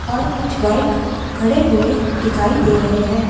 और कुछ बाइक खड़े हुए दिखाई दे रहे हैं।